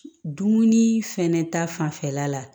Dumuni fɛnɛ ta fanfɛla la